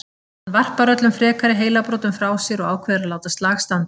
Hann varpar öllum frekari heilabrotum frá sér og ákveður að láta slag standa.